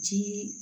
Jii